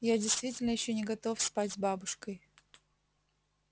я действительно ещё не готов спать с бабушкой